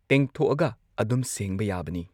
ꯇꯦꯡꯊꯣꯛꯑꯒ ꯑꯗꯨꯝ ꯁꯦꯡꯕ ꯌꯥꯕꯅꯤ